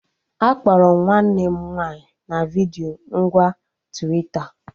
Akpọrọ m nwanne m nwaanyị na vidiyo ngwa Twita